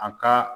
A ka